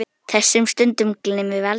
Þessum stundum gleymum við aldrei.